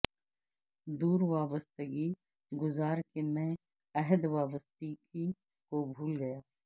دور وابستگی گزار کے میں عہد وابستگی کو بھول گیا